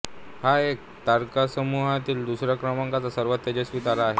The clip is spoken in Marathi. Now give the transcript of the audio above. हा या तारकासमूहातील दुसऱ्या क्रमांकाचा सर्वात तेजस्वी तारा आहे